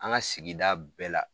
An ka sigi bɛɛ la